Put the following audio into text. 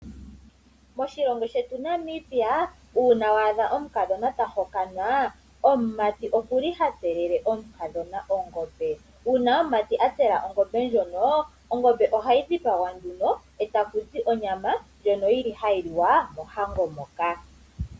Moshilongo shetu Namibia uuna wa adha omukadhona ta hokanwa, omumati oku li ha tselele omukadhona ongombe. Uuna omumati a tsela ongombe ndjono ongombe ohayi dhipagwa nduno e taku zi onyama ndjono yi li hayi liwa mohango moka.